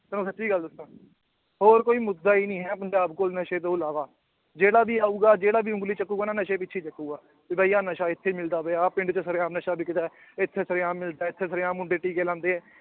ਤੈਨੂੰ ਸੱਚੀ ਗੱਲ ਦੱਸਾਂ ਹੋਰ ਕੋਈ ਮੁੱਦਾ ਹੀ ਨੀ ਹੈ ਪੰਜਾਬ ਕੋਲ ਨਸ਼ੇ ਤੋਂ ਇਲਾਵਾ, ਜਿਹੜਾ ਵੀ ਆਊਗਾ ਜਿਹੜਾ ਵੀ ਉਂਗਲੀ ਚੁੱਕੇਗਾ ਨਾ ਨਸ਼ੇ ਪਿੱਛੇ ਹੀ ਚੁੱਕੇਗਾ, ਵੀ ਬਾਈ ਆਹ ਨਸ਼ਾ ਇੱਥੇ ਮਿਲਦਾ ਪਿਆ, ਆਹ ਪਿੰਡ ਚ ਸਰੇਆਮ ਨਸ਼ਾ ਵਿਕਦਾ ਹੈ, ਇੱਥੇ ਸਰੇਆਮ ਮਿਲਦਾ ਹੈ, ਇੱਥੇ ਸਰੇਆਮ ਮੁੰਡੇ ਟੀਕੇ ਲਾਉਂਦੇ ਹੈ